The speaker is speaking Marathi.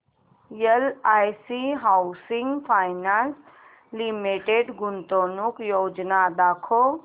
एलआयसी हाऊसिंग फायनान्स लिमिटेड गुंतवणूक योजना दाखव